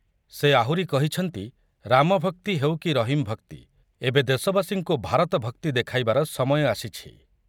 ସେ ଆହୁରି କହିଛନ୍ତି ରାମଭକ୍ତି ହେଉ କି ରହିମ ଭକ୍ତି, ଏବେ ଦେଶବାସୀଙ୍କୁ ଭାରତ ଭକ୍ତି ଦେଖାଇବାର ସମୟ ଆସିଛି ।